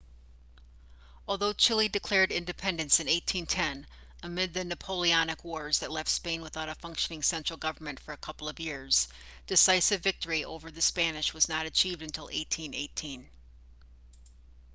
although chile declared independence in 1810 amid the napoleonic wars that left spain without a functioning central government for a couple of years decisive victory over the spanish was not achieved until 1818